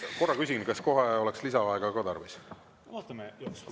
Korra küsin: kas kohe oleks lisaaega ka tarvis?